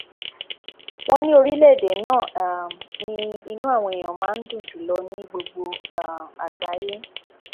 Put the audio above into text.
wọn ní orílẹèdè náà um ni inú àwọn èèyàn wọn máa ń dùn jù lọ ní gbogbo um àgbáyé